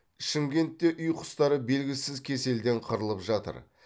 шымкентте үй құстары белгісіз кеселден қырылып жатыр